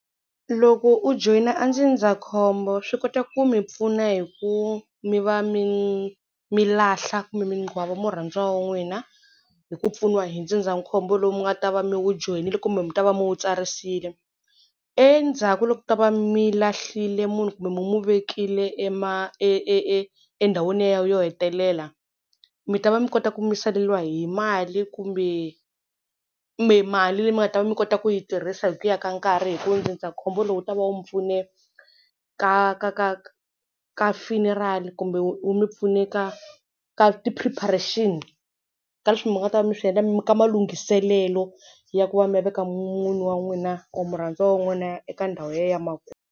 Loko u joyina a ndzindzakhombo swi kota ku mi pfuna hi ku mi va mi mi lahla kumbe mi murhandziwa wa n'wina hi ku pfuniwa hi ndzindzakhombo lowu mi nga ta va mi wu joyinile kumbe mi ta va mi wu tsarisile. Endzhaku loko mi ta va mi lahlile munhu kumbe mi mu vekile e e endhawini ya yena yo hetelela mi ta va mi kota ku mi saleriwa hi mali kumbe kumbe mali leyi mi nga ta va mi kota ku yi tirhisa hi ku ya ka nkarhi hi ku ndzindzakhombo lowu wu ta va wu mi pfune ka ka ka ka funeral kumbe wu mi pfune ka ka ti preparation ka leswi mi nga ta mi swi endla ka malunghiselelo ya ku va mi ya veka munhu wa n'wina or murhandziwa wa n'wina eka ndhawu ya yena ya .